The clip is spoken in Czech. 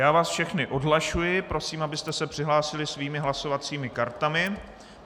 Já vás všechny odhlašuji, prosím, abyste se přihlásili svými hlasovacími kartami.